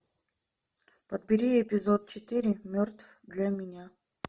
подбери эпизод четыре мертв для меня